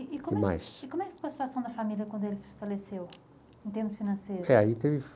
E como, que mais, e como é que ficou a situação da família quando ele faleceu, em termos financeiros? É, aí tem